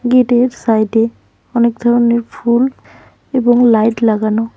গেটের সাইডে অনেক ধরনের ফুল এবং লাইট লাগানো।